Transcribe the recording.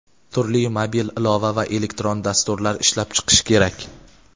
turli mobil ilova va elektron dasturlar ishlab chiqish kerak.